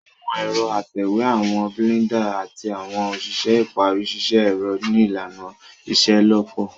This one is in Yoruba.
Awọn ẹrọ atẹwe, awọn binders, ati awọn oṣiṣẹ ipari ṣiṣẹ ẹrọ ni ilana iṣelọpọ.